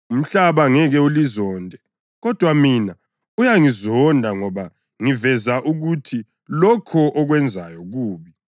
Umhlaba ngeke ulizonde, kodwa mina uyangizonda ngoba ngiveza ukuthi lokho okwenzayo kubi.